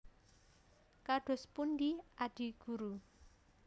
Kados pundi Adi Guru